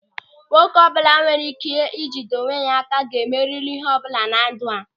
Nwoke ọbụla nwere ị́ké ị jide onwe ya áká ga-emeri ịhe ọbụla na ndụ a.